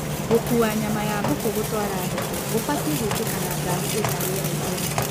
Gũkua nyama ya mbũkũ gũtwara thoko gũbatie gwĩkĩka na ngari ĩna rĩera ihehu